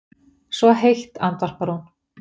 Svo heitt, andvarpar hún.